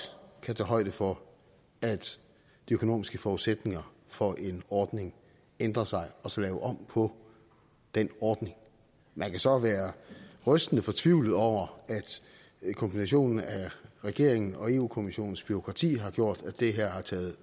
kan tage højde for at de økonomiske forudsætninger for en ordning ændrer sig og så lave om på den ordning man kan så være rystende fortvivlet over at kombinationen af regeringens og europa kommissionens bureaukrati har gjort at det her har taget